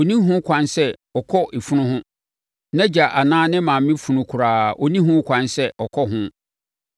Ɔnni ho kwan sɛ ɔkɔ efunu ho—nʼagya anaa ne maame funu koraa ɔnni ho kwan sɛ ɔkɔ ho.